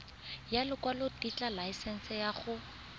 ya lekwalotetla laesense ya go